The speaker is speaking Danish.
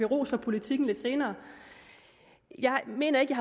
ros for politikken lidt senere jeg mener ikke